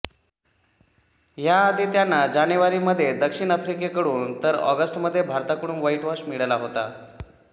ह्या आधी त्यांना जानेवारी मध्ये दक्षिण आफ्रिकेकडून तर ऑगस्टमध्ये भारताकडून व्हाईटवॉश मिळाला होता